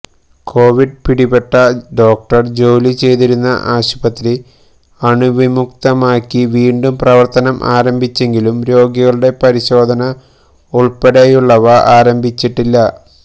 Covid പിടിപെട്ട doctor ജോലി ചെയ്തിരുന്ന ആശുപത്രി അണുവിമുക്തമാക്കി വീണ്ടും പ്രവര്ത്തം ആരംഭിച്ചെങ്കിലും രോഗികളുടെ പരിശോധന ഉള്പ്പെടെയുള്ളവ ആരംഭിച്ചിട്ടില്ല